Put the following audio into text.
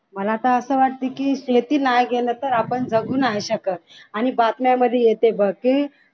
मला आता असं वाटतं की शेती नाही केलं तर आपण जगु नाही शकत आणि बातम्यांमध्ये आता येते बघ की